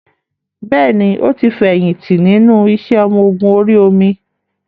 Bẹ́ẹ̀ni, ó ti fi èyìn tí nínú iṣẹ́ ọmọ Ogun orí omi